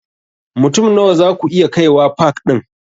Mutum Nawa zaku iya kaiwa pak ɗin?